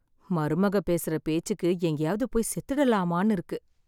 மருமக பேசுற பேச்சுக்கு எங்கேயாவது போய் செத்துடலாமான்னு இருக்கு.